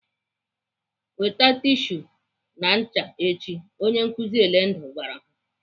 "Weta tishu na ncha echi!" Onye nkụzi Elendu gwara ha.